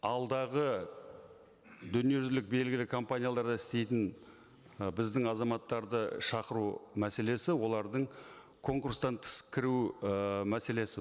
алдағы дүниежүзілік белгілі компанияларда істейтін і біздің азаматтарды шақыру мәселесі олардың конкурстан тыс кіру ы мәселесі